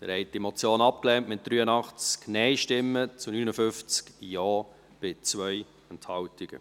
Sie haben diese Motion abgelehnt, mit 83 NeinStimmen zu 59 Ja, bei 2 Enthaltungen.